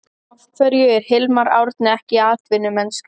Af hverju er Hilmar Árni ekki í atvinnumennsku?